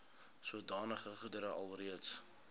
sodanige goedere alreeds